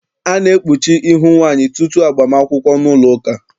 A na-ekpuchi ihu nwaanyị tutu agbam akwụkwọ n'ụlọụka.